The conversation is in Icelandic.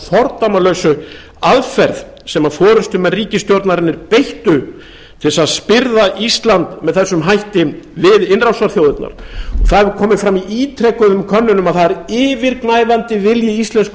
fordæmalausu aðferð sem forustumenn ríkisstjórnarinnar beittu til þess að spyrða ísland með þessum hætti við innrásarþjóðirnar það hefur komið fram í ítrekuðum könnunum að það er yfirgnæfandi vilji íslensku